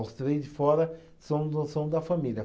Os três de fora são do, são da família.